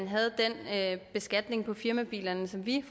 havde den beskatning på firmabilerne som vi